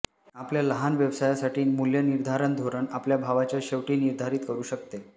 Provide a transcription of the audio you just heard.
आपल्या लहान व्यवसायासाठी मूल्यनिर्धारण धोरण आपल्या भावाच्या शेवटी निर्धारित करू शकते